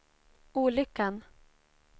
olyckan